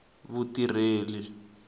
vutirheli